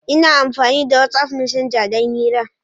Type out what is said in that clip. Ina amfani da wat'af messenger don hira.